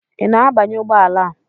Ị na-abanye ụgbọ ala a?